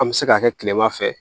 An bɛ se k'a kɛ kilema fɛ